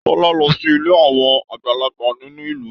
Tọ́lá lọ sí ilé àwọn àgbàlagbà nínú ìlú.